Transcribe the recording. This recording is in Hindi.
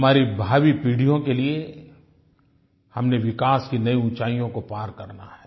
हमारी भावी पीढ़ियों के लिये हमने विकास की नई ऊंचाइयों को पार करना है